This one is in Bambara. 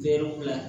Hɛrɛ bila